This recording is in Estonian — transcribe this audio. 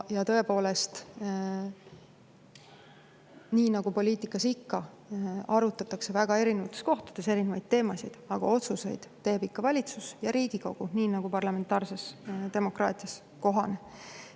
Ja nii nagu poliitikas ikka, arutatakse väga erinevates kohtades erinevaid teemasid, aga otsuseid teevad ikka valitsus ja Riigikogu, nii nagu parlamentaarses demokraatias kohane.